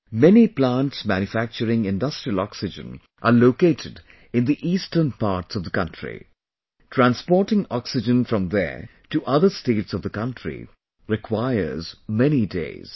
Many plants manufacturing industrial oxygen are located in the eastern parts of the country...transporting oxygen from there to other states of the country requires many days